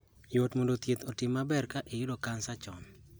Yot mondo thieth oti maber ka oyud kansa chon.